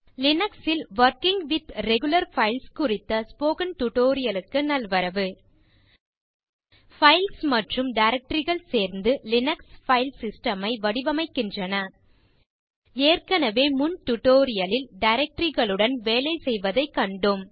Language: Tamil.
லினக்ஸ் ல் வொர்க்கிங் வித் ரெகுலர் பைல்ஸ் குறித்த ஸ்போக்கன் டியூட்டோரியல் க்கு நல்வரவு பைல்ஸ் மற்றும் directoryகள் சேர்ந்து லினக்ஸ் பைல் சிஸ்டம் ஐ வடிவமைக்கின்றன ஏற்கனவே முன் டியூட்டோரியல் லில் டைரக்டரி களுடன் வேலை செய்வதை கண்டோம்